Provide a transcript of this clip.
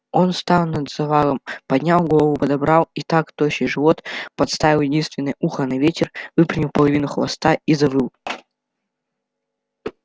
он стал над завалом поднял голову подобрал и так тощий живот подставил единственное ухо на ветер выпрямил половину хвоста и завыл